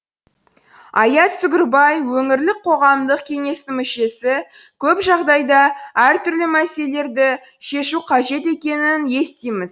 аят сүгірбай өңірлік қоғамдық кеңестің мүшесі көп жағдайда әртүрлі мәселелерді шешу қажет екенін естиміз